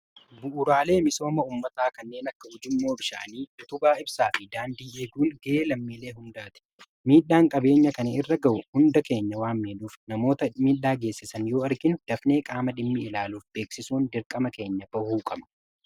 Bu'uraalee misooma ummataa kanneen akka uujummoo bishaanii utubaa ibsaa fi daandii eeguun gahee lammiilee hundaati. Miidhaan qabeenya kan irra ga'u hunda keenya wan miidhuuf namoota miidhaa geessisan yoo arginui dafnee qaama dhimmi ilaaluuf beeksisuun dirqama keenya bahuu qabana.